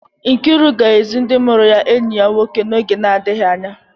Nkiru ga-ezi ndị mụrụ ya enyi ya nwoke n'oge na-adịghị anya.